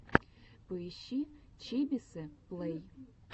поищи чибисы плэй